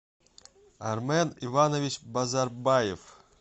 армен иванович базарбаев